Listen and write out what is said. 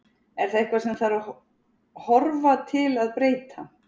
Er það eitthvað sem að þarf að horfa til að breyta?